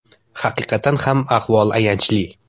Haqiqatan ham ahvol ayanchli.